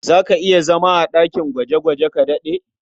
Za ka iya zama a ɗakin gwaje-gwaje ka daɗe?